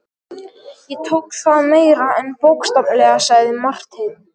Ég tók það meira en bókstaflega, sagði Marteinn.